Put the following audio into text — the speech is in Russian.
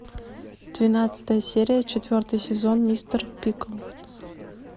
двенадцатая серия четвертый сезон мистер пиклз